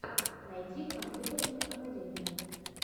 найти компьютерную академию